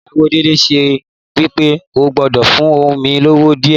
Ìyàwó Délé so wípé o gbọ́dọ̀ fún ohun ni owó díè